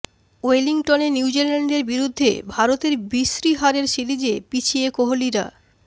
ওয়েলিংটনে নিউজিল্যান্ডের বিরুদ্ধে ভারতের বিশ্রী হারে সিরিজে পিছিয়ে কোহলিরা